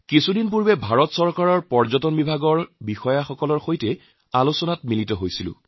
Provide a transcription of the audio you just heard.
কিছুদিন আগতে ভাৰত চৰকাৰৰ পৰ্যটন বিভাগৰ সৈতে মই বৈঠকত মিলিত হৈছিলোঁ